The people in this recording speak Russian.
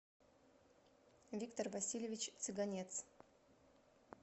виктор васильевич цыганец